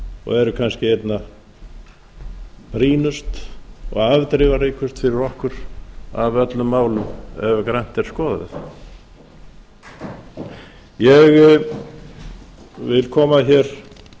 og eru kannski einna brýnust og afdrifaríkust fyrir okkur af öllum málum ef grannt er skoðað ég vil koma hér